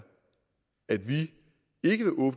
at vi